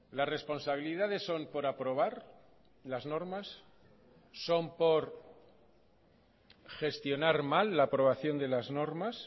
las responsabilidades son por aprobar las normas son por gestionar mal la aprobación de las normas